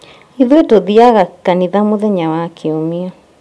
Ithũĩ tũthiaga kanitha mũthenya wa kiumia